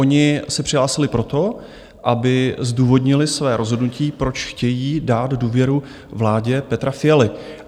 Oni se přihlásili proto, aby zdůvodnili své rozhodnutí, proč chtějí dát důvěru vládě Petra Fialy.